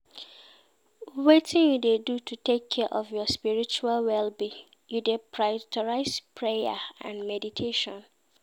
Wetin you dey do to take care of your spiritual well-being, you dey prioritize prayer and meditation?